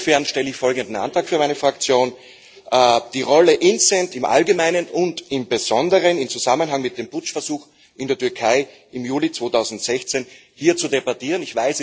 Insofern stelle ich folgenden Antrag für meine Fraktion Die Rolle des INTCEN im Allgemeinen und im Besonderen im Zusammenhang mit dem Putschversuch in der Türkei im Juli 2016 hier zu debattieren.